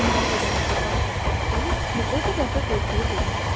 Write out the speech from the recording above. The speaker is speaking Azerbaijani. Deməli bədənimizdə baş verən xəstəlik bir o qədər də qorxulu deyilmiş.